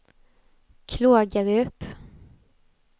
Klågerup